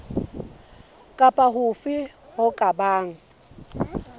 kapa hofe ho ka bang